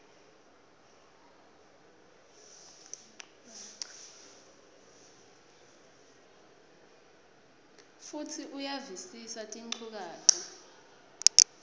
futsi uyavisisa tinchukaca